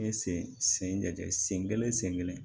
N ye sen sen lajɛ sen kelen sen kelen